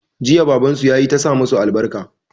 Jiya baban su yayi ta sa musu albarka